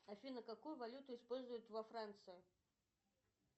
афина какую валюту используют во франции